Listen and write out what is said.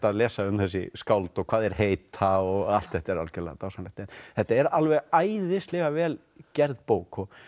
að lesa um þessi skáld og hvað þeir heita og allt þetta er algjörlega dásamlegt þetta er alveg æðislega vel gerð bók og